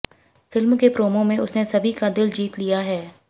film के promo में उसने सभी का दिल जीत लिया है